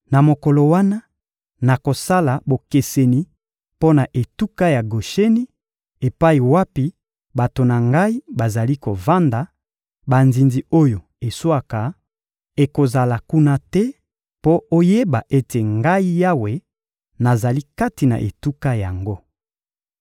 Na mokolo wana, nakosala bokeseni mpo na etuka ya Gosheni epai wapi bato na Ngai bazali kovanda; banzinzi oyo eswaka ekozala kuna te, mpo oyeba ete, Ngai Yawe, nazali kati na etuka yango.